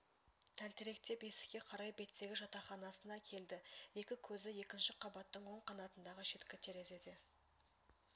тәлтіректеп есікке қарай беттеді жатақханасына келді екі көзі екінші қабаттың оң қанатындағы шеткі терезеде